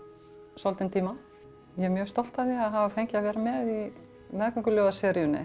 svolítinn tíma ég er mjög stolt af því að hafa fengið að vera með í